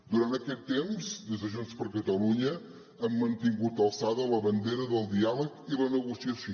durant aquest temps des de junts per catalunya hem mantingut alçada la bandera del diàleg i la negociació